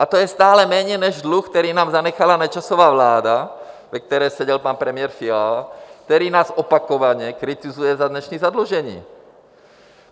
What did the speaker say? A to je stále méně než dluh, který nám zanechala Nečasova vláda, ve které seděl pan premiér Fiala, který nás opakovaně kritizuje za dnešní zadlužení.